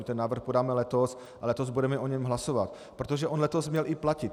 My ten návrh podáme letos a letos budeme o něm hlasovat, protože on letos měl i platit.